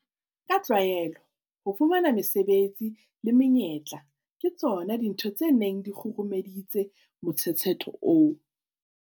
Ka tlwaelo, ho fumana mesebetsi le menyetla ke tsona dintho tse neng di kgurumeditse motshetshetho oo.